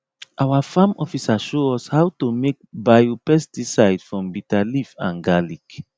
our farm officer show us how to make biopesticide from bitter leaf and garlic